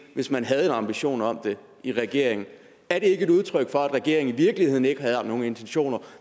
hvis man havde en ambition om det i regeringen er det ikke et udtryk for at regeringen i virkeligheden ikke havde nogen intentioner